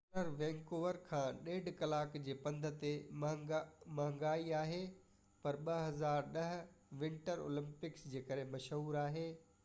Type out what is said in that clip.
Whistler Vancouver کان 1.5 ڪلاڪ جي پنڌ تي مهانگي آهي پر 2010 ونٽر اولمپڪس جي ڪري مشهور آهي